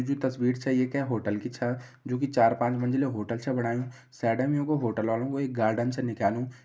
जे तस्वीर छे ये के होटल की छ जु कि चार-पाँच मंजिलो होटल छ बणायूं साइडम युं कू होटल वालूं कु एक गार्डन छ निकल्यूं।